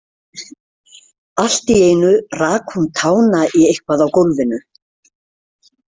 Allt í einu rak hún tána í eitthvað á gólfinu.